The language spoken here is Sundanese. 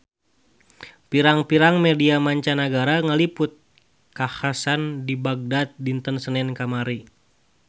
Pirang-pirang media mancanagara ngaliput kakhasan di Bagdad dinten Senen kamari